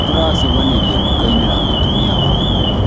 tũracemanirie dukainĩ na mũtumia waku.